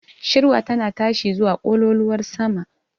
Shirwa tana tashi zuwa ƙololuwar sama.